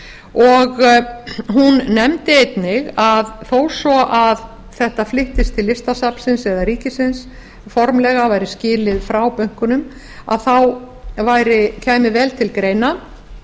og hún nefndi einnig að þó svo að þetta flyttist til listasafnsins eða ríkisins formlega væri skilið frá bönkunum kæmi vel til greina